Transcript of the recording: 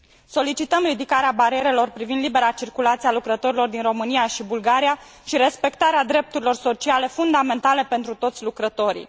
Solicităm ridicarea barierelor privind libera circulație a lucrătorilor din România și Bulgaria și respectarea drepturilor sociale fundamentale pentru toți lucrătorii.